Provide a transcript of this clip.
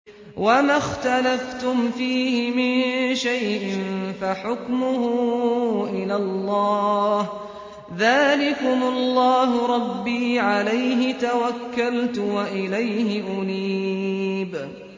وَمَا اخْتَلَفْتُمْ فِيهِ مِن شَيْءٍ فَحُكْمُهُ إِلَى اللَّهِ ۚ ذَٰلِكُمُ اللَّهُ رَبِّي عَلَيْهِ تَوَكَّلْتُ وَإِلَيْهِ أُنِيبُ